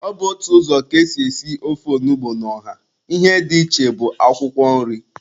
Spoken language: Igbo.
Ọ bụ otu ụzọ ka ésì èsí ofe onugbu na ọha, ihe dị iche bụ akwụkwọ nri.